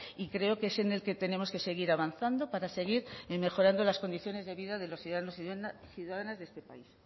y creo que es en el que tenemos que seguir avanzando para seguir mejorando las condiciones de vida de los ciudadanos y ciudadanas de este país